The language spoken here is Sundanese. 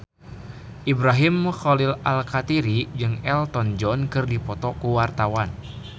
Ibrahim Khalil Alkatiri jeung Elton John keur dipoto ku wartawan